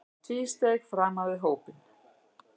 Hann tvísteig framan við hópinn.